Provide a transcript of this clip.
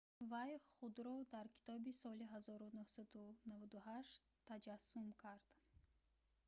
вай худро дар китоби соли 1998 таҷассум кард